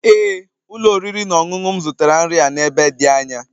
Ee ụlọ oriri na ọṅụṅụ m zụtara nri a n'ebe dị anya